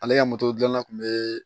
Ale ka moto dilanna kun bɛ